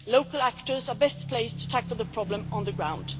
Local actors are best placed to tackle the problem on the ground.